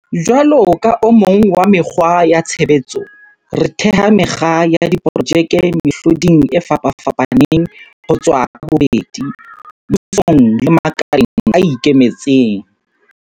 Jwalo ka o mong wa mekgwa ya tshebetso, re theha mekga ya diprojeke mehloding e fapafapaneng ho tswa ka bobedi, mmusong le makaleng a ikemetseng.